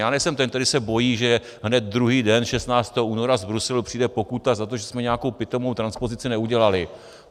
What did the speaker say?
Já nejsem ten, který se bojí, že hned druhý den, 16. února, z Bruselu přijde pokuta za to, že jsme nějakou pitomou transpozici neudělali.